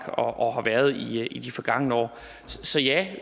og har været der i de forgangne år så ja